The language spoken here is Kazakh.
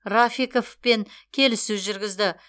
рафиковпен келіссөз жүргізді